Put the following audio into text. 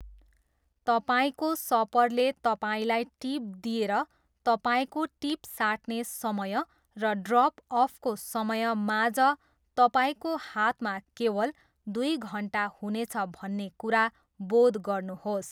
तपाईँको सपरले तपाईँलाई टिप दिएर तपाईँको टिप साट्ने समय र ड्रप अफको समय माझ तपाईँको हातमा केवल दुई घन्टा हुनेछ भन्ने कुरा बोध गर्नुहोस्।